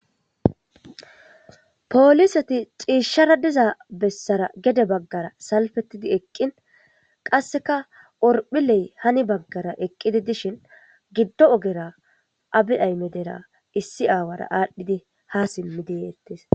Poolisati xiishshara diza bessara gede baggara salfettidi eqqin qasseka orphiley hani baggara eqqidi dishin giddo ogera abi aymedera issi aawara aadhdhidi ha simmi deyeettes.